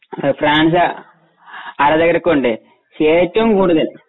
France ആരാധകരൊക്കെയുണ്ട് പക്ഷെ ഏറ്റവും കൂടുതൽ